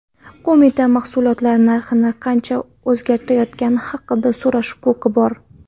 Qo‘mitada mahsulotlar narxi qanchaga o‘zgartirilayotgani haqida so‘rash huquqi bor.